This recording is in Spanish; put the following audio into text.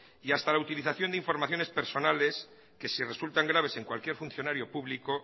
y hasta la utilización de informaciones personales que si resultan graves en cualquier funcionario público